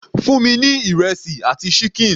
Fún mi ní ìrẹsì àti ṣíkìn.